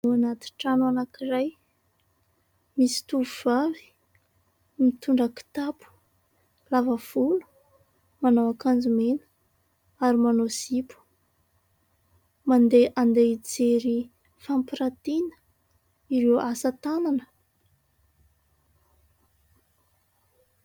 Ao anaty trano anankiray, misy tovovavy mitondra kitapo, lava volo manao akanjo mena ary manao zipo. Mandeha handeha mijery fampirantiana ireo asa tanana.